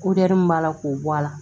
min b'a la k'o bɔ a la